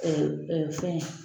fɛn